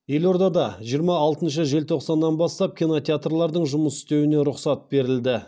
елордада жиырма алтыншы желтоқсаннан бастап кинотеатрлардың жұмыс істеуіне рұқсат берілді